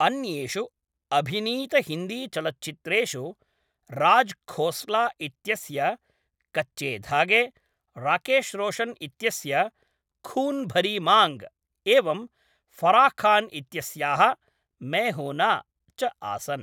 अन्येषु अभिनीतहिन्दीचलच्चित्रेषु राज् खोस्ला इत्यस्य कच्चे धागे, राकेश् रोशन् इत्यस्य खून् भरी मांग, एवं फराह् खान् इत्यस्याः मैं हू न, च आसन्।